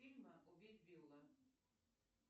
фильмы убить билла